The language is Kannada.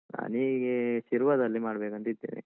ನಾನ್ ಹೀಗೇ ಶಿರ್ವದಲ್ಲಿ ಮಾಡ್ಬೇಕಂತಿದ್ದೇನೆ.